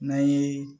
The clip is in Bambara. N'an ye